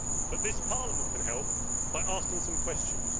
But this Parliament can help by asking some questions.